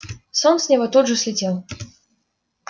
сон с него тут же слетел